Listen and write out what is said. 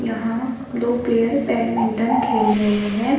यहां दो player badminton खेल रहे हैं।